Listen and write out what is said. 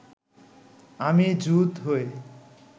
আমি জুত হয়ে